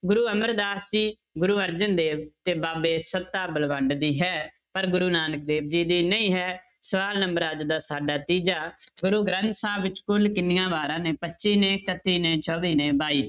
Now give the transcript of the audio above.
ਗੁਰੂ ਅਮਰਦਾਸ ਜੀ, ਗੁਰੂ ਅਰਜਨ ਦੇਵ ਤੇ ਬਾਬੇ ਸੱਤਾ ਬਲਵੰਡ ਦੀ ਹੈ ਪਰ ਗੁਰੂ ਨਾਨਕ ਦੇਵ ਜੀ ਦੀ ਨਹੀਂ ਹੈ, ਸਵਾਲ number ਆ ਜਾਂਦਾ ਸਾਡਾ ਤੀਜਾ ਗੁਰੂ ਗ੍ਰੰਥ ਸਾਹਿਬ ਵਿੱਚ ਕੁੱਲ ਕਿੰਨੀਆਂ ਵਾਰਾਂ ਨੇ ਪੱਚੀ ਨੇ, ਇਕੱਤੀ ਨੇ, ਚੌਵੀ ਨੇ, ਬਾਈ